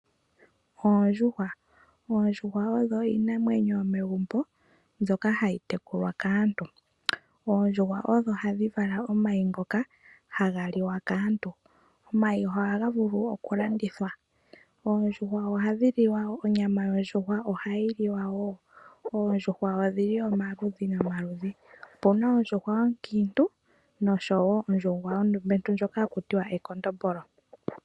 Oondjuhwa odho iinamwenyo yomegumbo, mbyoka hayi tekulwa kaantu. Oondjuhwa odho hadhi vala omayi ngoka haga liwa kaantu. Omayi ohaga vulu okulandithwa . Onyama yondjuhwa ohayi liwa wo . Oondjuhwa odhi li omaludhi nomaludhi. Opuna oondjuhwa oonkiintu noshowoo oondumentu ndjoka haku tiwa ekondombolo.